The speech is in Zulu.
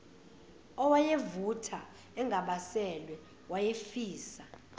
owayevutha engabaselwe wayefisa